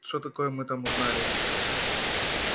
что такое мы там узнали